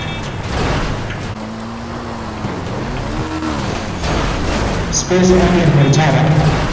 સપિંજ અને મર્જતા